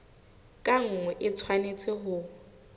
ka nngwe e tshwanetse ho